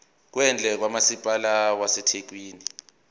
kwendle kamasipala wasethekwini